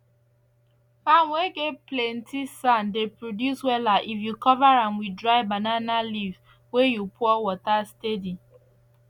farm whey get plenty sand dey produce wella if you cover am with dry banana leaves whey you pour water steady